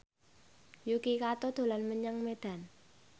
Yuki Kato dolan menyang Medan